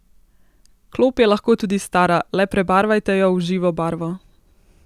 Klop je lahko tudi stara, le prebarvajte jo v živo barvo!